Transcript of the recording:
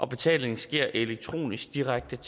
betalingen sker elektronisk direkte